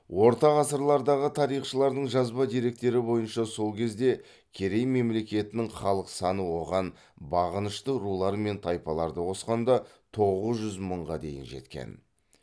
орта ғасырлардағы тарихшыларының жазба деректері бойынша сол кезде керей мемлекетінің халық саны оған бағынышты рулар мен тайпаларды қосқанда тоғыз жүз мыңға дейін жеткен